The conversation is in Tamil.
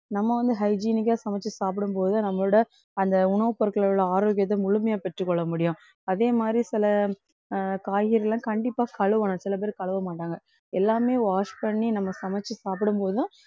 நம்ம வந்து hygienic ஆ சமைச்சு சாப்பிடு போது நம்மளோட அந்த உணவுப் பொருட்களோட ஆரோக்கியத்தை முழுமையா பெற்றுக்கொள்ள முடியும் அதே மாதிரி சில அஹ் காய்கறிலாம் கண்டிப்பா கழுவணும், சில பேர் கழுவ மாட்டாங்க எல்லாமே wash பண்ணி நம்ம சமைச்சு சாப்பிடும்போது தான்